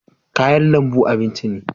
kayan lambu abinci ne